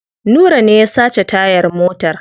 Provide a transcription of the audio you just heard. Nura ne ya sace tayar motar.